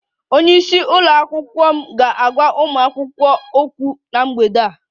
Onye isi nke ụlọ akwụkwọ m ga-agwa ụmụ akwụkwọ okwu na mgbede a